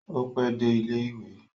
O pẹ dé ilẹ ìwé?